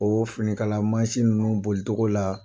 O finikala mansin ninnu bolitogo la